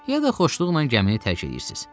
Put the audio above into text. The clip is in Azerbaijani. Ya da xoşluqla gəmini tərk eləyirsiz.